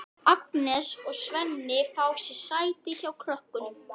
Agnes og Svenni fá sér sæti hjá krökkunum.